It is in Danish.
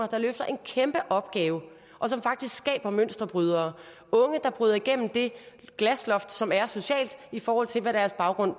der løfter en kæmpe opgave og som faktisk skaber mønsterbrydere unge der bryder igennem det glasloft som er socialt i forhold til hvad deres baggrund